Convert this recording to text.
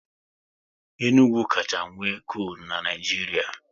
Enugu kacha nwe kolu n'Naijiria